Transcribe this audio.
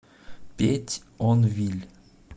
петьонвиль